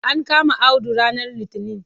An kama Audu ranar litinin.